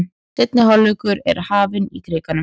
Seinni hálfleikur er hafinn í Krikanum